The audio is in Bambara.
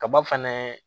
Kaba fɛnɛ